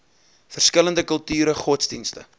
verskillende kulture godsdienste